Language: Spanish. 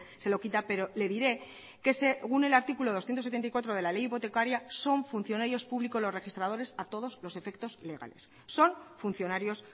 se lo quita pero le diré que según el artículo doscientos setenta y cuatro de la ley hipotecaria son funcionarios público los registradores a todos los efectos legales son funcionarios